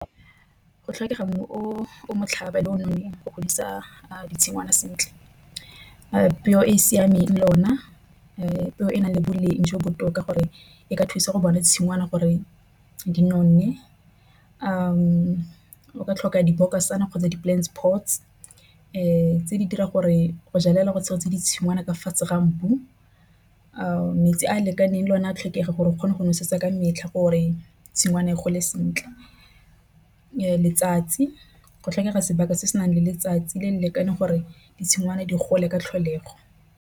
Go tlhokega mmu o motlhaba le o nonneng go godisa ditshingwana sentle. Peo e siameng le o na e e nang le boleng jo bo botoka gore e ka thusa go bona tshingwana gore di nonne. O ka tlhoka dibokosane kgotsa di-plants pots tse di dira gore go jalela tse ditshingwana ka fa mmu. Metsi a a lekaneng le one a tlhoka gore o kgone go nosetsa ka metlha gore tshingwana e gole sentle letsatsi go tlhokega sebaka se se nang le letsatsi le le lekaneng gore di tshingwana di gole ka tlholego.